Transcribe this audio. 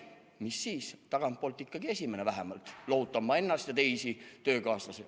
Mis siis, et tagantpoolt esimene – lohutan ma ennast ja teisi töökaaslasi.